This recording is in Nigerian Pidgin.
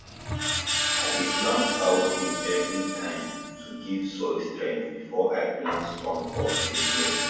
i dey plant cowpea every time to give soil strength before i plant strong crops again